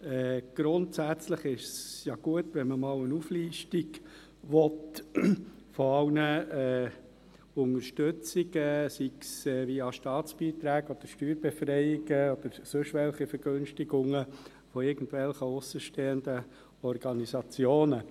Grundsätzlich ist es ja gut, wenn man einmal eine Auflistung aller Unterstützungen haben will, sei es via Staatsbeiträge oder Steuerbefreiungen oder in Form sonstiger Vergünstigungen für irgendwelche Organisationen.